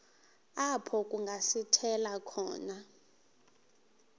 apho kungasithela khona